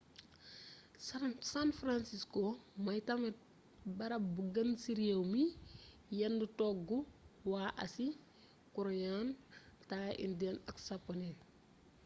san francisco moy tamit barab bu gëna ci réew mi yen togg wa asi :korean thai indian ak saponné